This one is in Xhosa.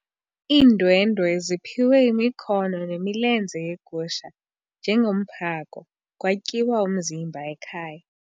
Iindwendwe ziphiwe imikhono nemilenze yegusha njengomphako kwatyiwa umzimba ekhaya.